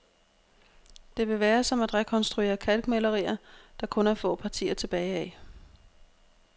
Det vil være som at rekonstruere kalkmalerier, der kun er få partier tilbage af.